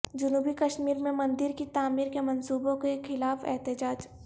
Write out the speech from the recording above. جنوبی کشمیر میں مندر کی تعمیرکے منصوبوں کے خلاف احتجاج